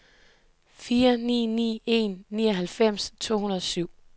fire ni ni en nioghalvfems to hundrede og syv